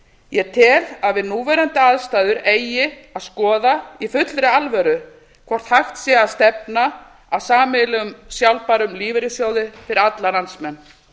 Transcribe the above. ég tel að við núverandi aðstæður eigi að skoða í fullri alvöru hvort hægt sé að stefna að sameiginlegum sjálfbærum lífeyrissjóði fyrir alla landsmenn